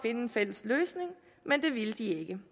en fælles løsning men det ville de ikke